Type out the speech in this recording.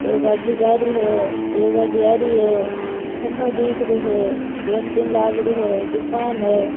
एक गाड़ी जा रही है एक गाड़ी आ रही है खम्भों दिख रो है केंटीन लाग री है दुकान है।